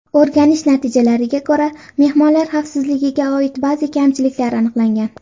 O‘rganish natijalariga ko‘ra, mehmonlar xavfsizligiga oid ba’zi kamchiliklar aniqlangan.